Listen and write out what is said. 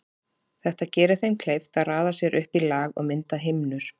Þetta gerir þeim kleift að raða sér upp í lag og mynda himnur.